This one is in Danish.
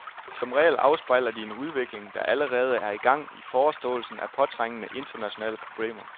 Som regel afspejler de en udvikling, der allerede er i gang i forståelsen af påtrængende, internationale problemer.